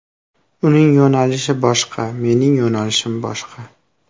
Uning yo‘nalishi boshqa, mening yo‘nalishim boshqa.